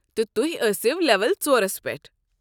تہٕ تُہۍ ٲسِو لیول ژۄرس پٮ۪ٹھ۔